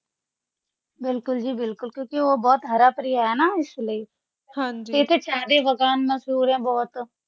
ਬਿਲਕੁਲ ਜੀ ਬਿਲਕੁਲ ਕਿਉਕਿ ਉਹ ਬਹੁਤ ਹਰ ਭਰਾਇਆ ਹੈ ਨਾ ਇਸਲਈ